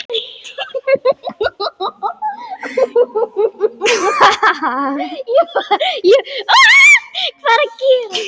Það hafi skert öryggi.